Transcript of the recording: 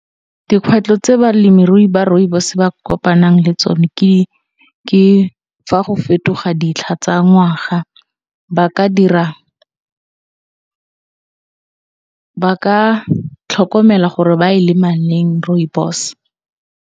Dikgwetlho tse balemirui ba Rooibos ba kopanang le tsone, ke fa go fetoga dintlha tsa ngwaga ba ka tlhokomela gore ba e lema neng Rooibos.